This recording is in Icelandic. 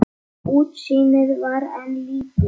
Útsýnið var enn lítið.